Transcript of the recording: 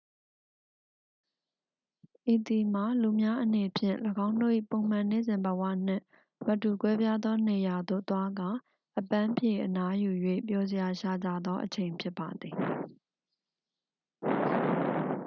ဤသည်မှာ လူများအနေဖြင့် ၎င်းတို့၏ပုံမှန်နေ့စဉ်ဘဝနှင့်မတူကွဲပြားသောနေရာသို့သွားကာ အပန်းဖြေအနားယူ၍ ပျော်စရာရှာကြသောအချိန်ဖြစ်ပါသည်